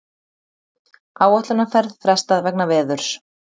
Áætlunarferð frestað vegna veðurs